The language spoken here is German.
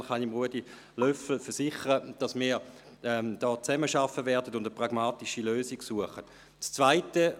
Insofern kann ich Ruedi Löffel versichern, dass wir zusammenarbeiten und eine pragmatische Lösung suchen werden.